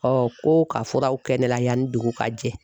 ko ka furaw kɛ ne la yanni dugu ka jɛ.